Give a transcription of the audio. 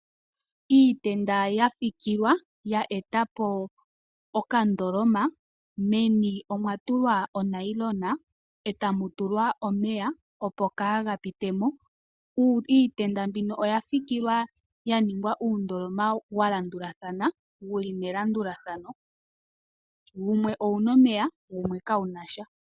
Iitenda yafikilwa ya etapo okandoloma meni omwatulwa onayilona e tamu mu tulwa omeya opo kaa ga pitemo .Iitenda mbino oyafikilwa yaningwa uundoloma walandulathana wuli melandulathano, wumwe owuna omeya wumwe ka wunasha.